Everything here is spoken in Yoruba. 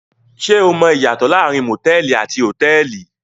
Ṣé o mọ ìyàtọ̀ láàárín motẹ̀ẹ̀li àti hotẹ́ẹ́li?